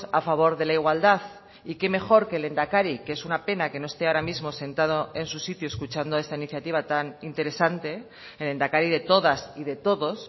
a favor de la igualdad y qué mejor que el lehendakari que es una pena que no esté ahora mismo sentado en su sitio escuchando esta iniciativa tan interesante el lehendakari de todas y de todos